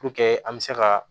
Puruke an bɛ se ka